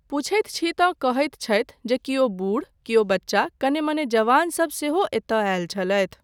पुछैत छी तँ कहैत छथि जे केओ बुढ़ केओ बच्चा कने मने जवानसब सेहो एतय आयल छलथि।